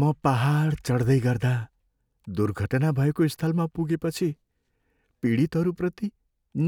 म पाहाड चढ्दै गर्दा दुर्घटना भएको स्थलमा पुगेपछि पीडितहरूप्रति